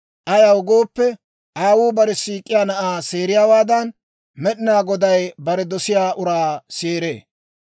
Ayaw gooppe, aawuu bare siik'iyaa na'aa seeriyaawaadan, Med'inaa Goday bare dosiyaa uraa seeree.